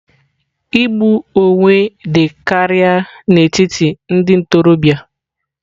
Igbu onwe dị karịa n'etiti ndị ntorobịa.